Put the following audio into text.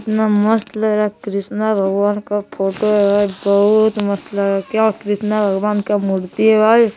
कितना मस्त लग रहा है कृष्णा भगवान का फोटो बहुत मस्त लग रहा है क्यों कृष्णा भगवान के मूर्ति है भाई --